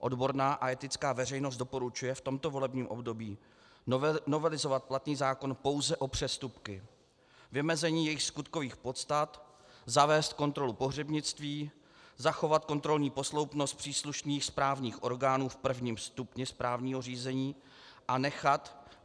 Odborná a etická veřejnost doporučuje v tomto volebním období novelizovat platný zákon pouze o přestupky, vymezení jejich skutkových podstat, zavést kontrolu pohřebnictví, zachovat kontrolní posloupnost příslušných správních orgánů v prvním stupni správního řízení a nechat